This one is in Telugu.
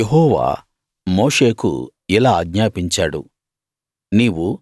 యెహోవా మోషేకు ఇలా ఆజ్ఞాపించాడు